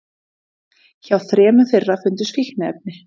Hjá þremur þeirra fundust fíkniefni